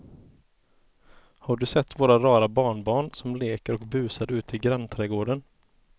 Har du sett våra rara barnbarn som leker och busar ute i grannträdgården!